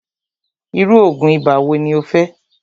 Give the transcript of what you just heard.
irú oògùn ibà wo ní o fẹ́?